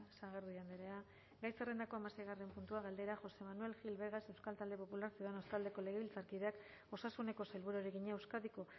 sagardui andrea gai zerrendako hamaseigarren puntua galdera josé manuel gil vegas euskal talde popularra ciudadanos taldeko legebiltzarkideak osasuneko sailburuari egina euskadiko